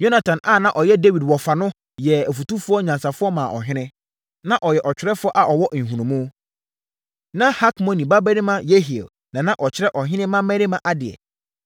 Yonatan a na ɔyɛ Dawid wɔfa no yɛɛ ɔfotufoɔ nyansafoɔ maa ɔhene. Na ɔyɛ ɔtwerɛfoɔ a ɔwɔ nhunumu. Na Hakmoni babarima Yehiel na na ɔkyerɛ ɔhene mmammarima adeɛ.